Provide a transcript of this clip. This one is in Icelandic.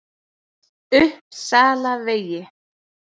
Uppsalavegi